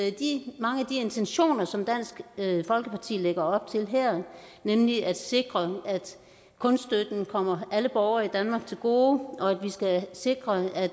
af de intentioner som dansk folkeparti lægger op til her nemlig at sikre at kunststøtten kommer alle borgere i danmark til gode og at vi skal sikre at